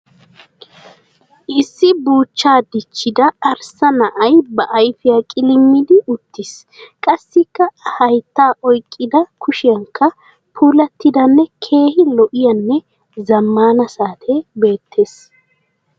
Issi buuchchaa dichchida arssa na'ay ba ayifiya qilimmidi uttiis. Qassikka a hayittaa oyiqqida kushiyankka puulattidanne keehi lo'iyaanne zammaana saatee beettes.